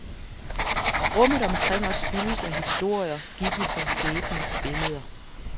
Rummet omkring os fyldes af historier, skikkelser, skæbner, billeder.